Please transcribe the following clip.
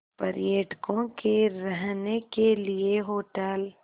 पर्यटकों के रहने के लिए होटल